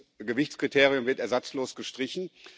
das Gewichtskriterium wird ersatzlos gestrichen.